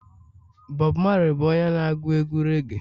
Bob Marley bụ onye na agu egwu reage